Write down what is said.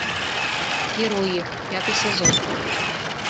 герои пятый сезон